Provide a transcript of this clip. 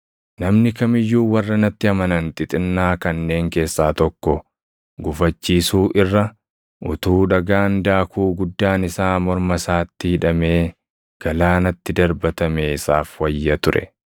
“Namni kam iyyuu warra natti amanan xixinnaa kanneen keessaa tokko gufachiisuu irra, utuu dhagaan daakuu guddaan isaa morma isaatti hidhamee galaanatti darbatamee isaaf wayya ture.